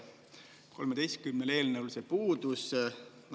13 eelnõule see puudus.